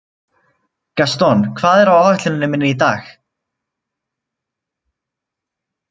Gaston, hvað er á áætluninni minni í dag?